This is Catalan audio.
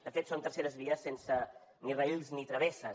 de fet són terceres vies sense ni rails ni travesses